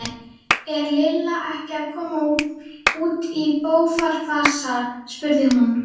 Er Lilla ekki að koma út í bófahasar? spurði hún.